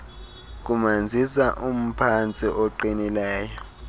kumanzisa umphantsi oqinileyo